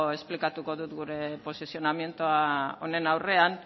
esplikatuko dut gure posizioa honen aurrean